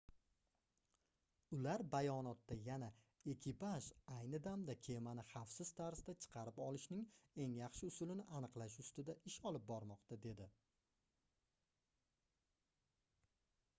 ular bayonotda yana ekipaj ayni damda kemani xavfsiz tarzda chiqarib olishning eng yaxshi usulini aniqlash ustida ish olib bormoqda dedi